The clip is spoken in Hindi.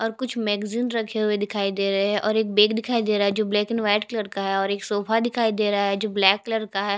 और कुछ मैग्ज़ीन रखे हुए दिखाई दे रहै है और एक बेड दिखाई दे रहा है जो ब्लैक एंड वाइट कलर का है और एक सोफा दिखाई दे रहा है जो ब्लैक कलर का है।